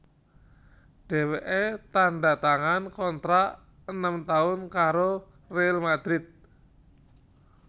Dhèwèké tandha tangan kontrak enem taun karo Real Madrid